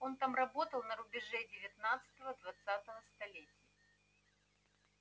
он там работал на рубеже девятнадцатого-двадцатого столетия